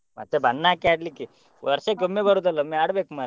ಮತ್ತೆ ಬಣ್ಣ ಹಾಕಿ ಆಡ್ಲಿಕ್ಕೆ ವರ್ಷಕ್ಕೆ ಬರುದಲ್ಲ ಒಮ್ಮೆ ಆಡ್ಬೇಕು ಮರ್ರೆ.